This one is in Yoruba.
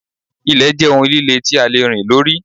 Ilẹ̀ jẹ́ ohun líle tí a lè rìn lórí.